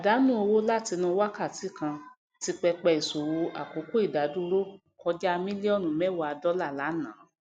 àdánù owó látinú wákàtí kan ti pẹpẹ íṣòwò àkókò ìdadúró kọjá mílíọnù mewa dọlà lánàá